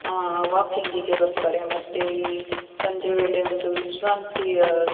ಆಹ್ಹ್ walking ಗೆ ಬರ್ತಾರೆ ಮತ್ತೆ ಸಂಜೆ ವೇಳೆ ಒಂದು ವಿಶ್ರಾಂತಿಯ --